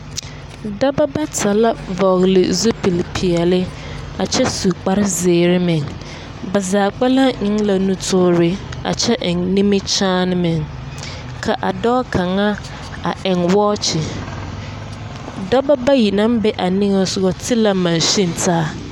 Dɔba bata la vɔgele zupilpeɛle, a kyɛ su kpsrezeere meŋ. Ba zaa kpɛlɛŋ eŋ la nutoore, a kyɛ eŋ minikyaan meŋ, ka a dɔɔ kaŋa a eŋ wɔɔkye. Dɔba bayi naŋ be a niŋesoga ti la mansin taa.